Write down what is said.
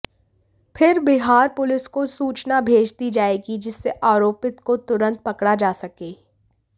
फिर बिहार पुलिस को सूचना भेज दी जाएगी जिससे आरोपित को तुरंत पकड़ा जा सके